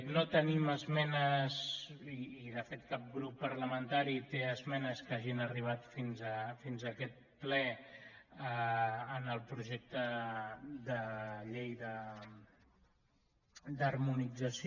no tenim esmenes i de fet cap grup parlamentari té esmenes que hagin arribat fins a aquest ple en el projecte de llei d’harmonització